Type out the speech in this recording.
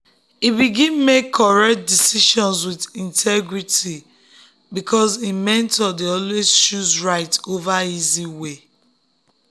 e begin make correct decisions with integrity because him mentor dey always choose right over easy way.